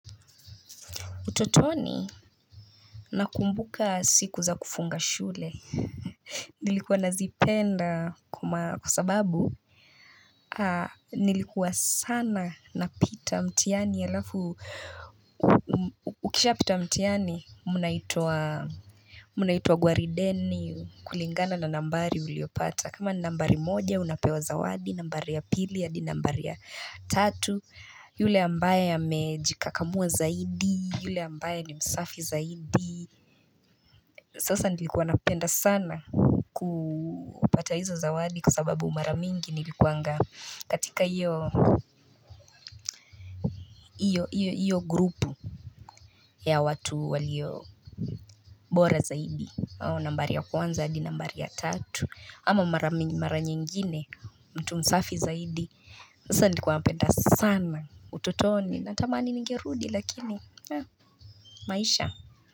Utotoni na kumbuka siku za kufunga shule, nilikuwa nazipenda kwa sababu nilikuwa sana napita mtihani alafu, ukisha pita mtihani munaitwa gwarideni kulingana na nambari uliyopata. Kama nambari moja unapewa zawadi nambari ya pili hadi nambari ya tatu Yule ambaye amejikakamua zaidi yule ambaye ni msafi zaidi Sasa nilikuwa napenda sana kupata hizo zawadi kwa sababu mara mingi nilikuanga katika iyo iyo iyo iyo grupu ya watu walio mbora zaidi nambari ya kwanza di nambari ya tatu Ama mara nyingine mtu msafi zaidi sasa nilikuwa napenda sana ututoni Natamani ningerudi lakini maisha.